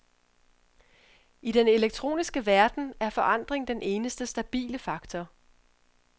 I den elektroniske verden er forandring den eneste stabile faktor.